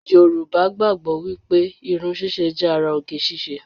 Yorùbá gbàgbọ́ wípé irun ṣíṣe jẹ́ ara oge ṣíṣe